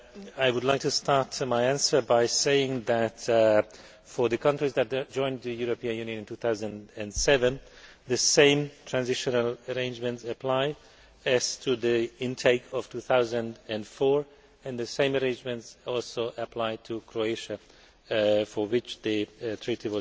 I would like to start my answer by saying that, for the countries that joined the European Union in 2007, the same transitional arrangements apply as for the intake of 2004, and the same arrangements also apply to Croatia, for which the agreement